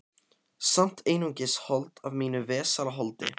Samt einungis hold af mínu vesala holdi.